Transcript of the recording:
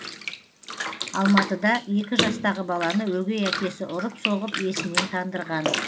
алматыда екі жастағы баланы өгей әкесі ұрып соғып есінен тандырған